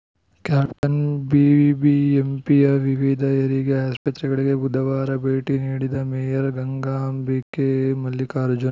caption ಬಿಬಿಎಂಪಿಯ ವಿವಿಧ ಹೆರಿಗೆ ಆಸ್ಪತ್ರೆಗಳಿಗೆ ಬುಧವಾರ ಭೇಟಿ ನೀಡಿದ ಮೇಯರ್‌ ಗಂಗಾಂಬಿಕೆ ಮಲ್ಲಿಕಾರ್ಜುನ್‌